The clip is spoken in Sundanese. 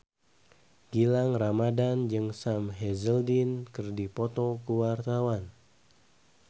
Gilang Ramadan jeung Sam Hazeldine keur dipoto ku wartawan